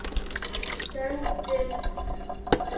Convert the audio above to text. Söndum